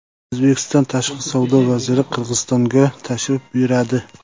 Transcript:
O‘zbekiston Tashqi savdo vaziri Qirg‘izistonga tashrif buyuradi.